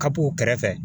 Kapuw kɛrɛfɛ